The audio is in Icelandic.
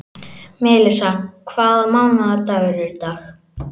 Melissa, hvaða mánaðardagur er í dag?